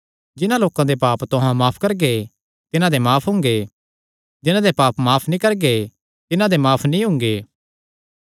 जिन्हां लोकां दे पाप तुहां माफ करगे तिन्हां दे माफ हुंगे जिन्हां दे पाप तुहां माफ नीं करगे तिन्हां दे माफ नीं हुंगे